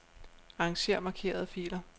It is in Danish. Arranger markerede filer.